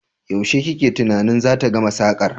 Yaushe kake tunanin zata gama sakar?